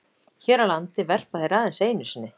Hér á landi verpa þeir aðeins einu sinni.